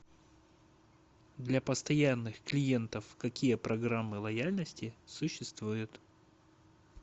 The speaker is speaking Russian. для постоянных клиентов какие программы лояльности существуют